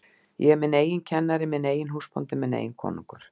Ég er minn eigin kennari, minn eigin húsbóndi, minn eigin konungur.